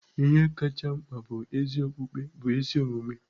Ihe kacha mkpa bụ ezi okpukpe bụ ezi omume.